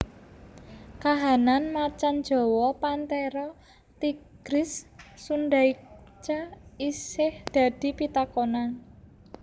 Kahanan macan jawa Panthera tigris sundaica isih dadi pitakonan